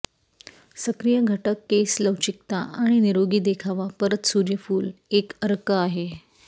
सक्रिय घटक केस लवचिकता आणि निरोगी देखावा परत सूर्यफूल एक अर्क आहे